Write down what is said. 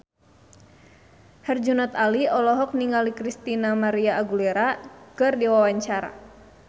Herjunot Ali olohok ningali Christina María Aguilera keur diwawancara